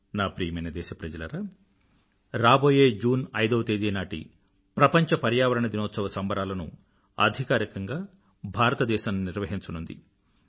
నా ప్రియమైన దేశప్రజలారా రాబోయే జూన్ ఐదవ తేదీ నాటి ప్రపంచ పర్యావరణ దినోత్సవ సంబరాలను అధికారికంగా భారతదేశం నిర్వహించనుంది